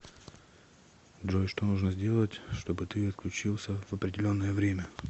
джой что нужно сделать чтобы ты отключился в определенное время